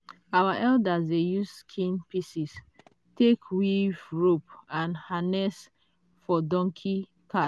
our elders dey use skin pieces take weave rope and harness for donkey